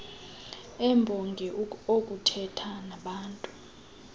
embongi okuthetha nabaantu